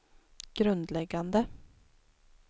grundläggande